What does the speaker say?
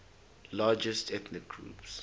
largest ethnic groups